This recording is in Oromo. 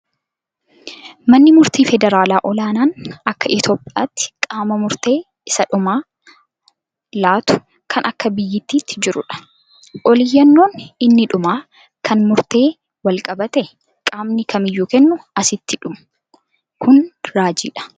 Manni murtii federaalaa olaanaan akka Itoophiyaatti qaama murtee isa dhumaa laatu kan akka biyyaatti jirudha. Ol iyyannoon inni dhumaa kan murteen wal qabate qaamni kamiyyuu kennu asitti dhumu. Kun raajiidha.